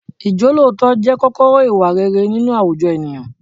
Ìjọ́lóòótọ́ jẹ́ kọ́kọ́rọ́ ìwà rere nínú àwùjọ ènìyàn.